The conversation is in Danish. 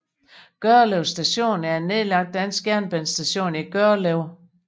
Gørlev Station er en nedlagt dansk jernbanestation i Gørlev